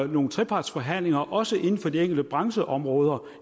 nogle trepartsforhandlinger også inden for de enkelte brancheområder